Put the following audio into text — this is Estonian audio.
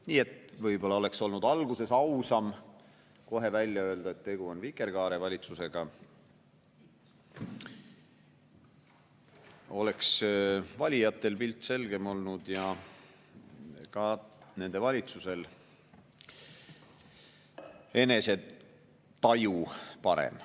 Nii et võib-olla oleks olnud ausam kohe alguses välja öelda, et tegu on vikerkaarevalitsusega, siis oleks valijatel pilt selgem olnud ja ka nende valitsusel enesetaju parem.